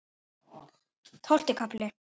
Tólfti kafli